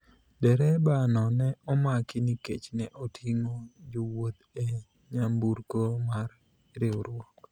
dereba no ne omaki nikech ne oting'o jowuoth e nyamburko mar riwruok